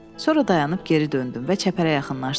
Sonra dayanıb geri döndüm və çəpərə yaxınlaşdım.